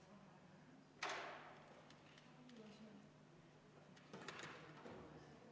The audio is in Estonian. Head kolleegid!